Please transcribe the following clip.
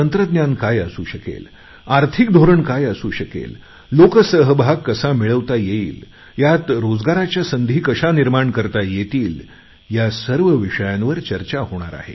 तंत्रज्ञान काय असू शकेल आर्थिक धोरण काय असू शकेल लोकसहभाग कसा मिळवता येईल यात रोजगाराच्या संधी कशा निर्माण करता येतील या सर्व विषयांवर चर्चा होणार आहे